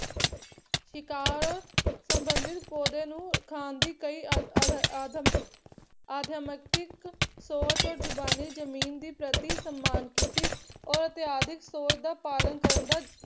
ਸ਼ਿਕਾਰ ਸਬੰਧਿਤ ਪੌਦੇ ਨੂੰ ਖਾਣ ਦੀ ਕਈ ਅਦ ਅਦ ਆਦਮ ਆਦਮੇਕਸਿਕ ਸੋਚ ਜ਼ੁਬਾਨੀ ਜਮੀਨ ਦੀ ਪ੍ਰਤੀ ਸਮਾਨ ਕੀਤੀ ਔਰ ਇਤਿਹਾਸ ਦੀ ਸੋਚ ਦਾ ਪਾਲਣ ਕਰਨ ਦਾ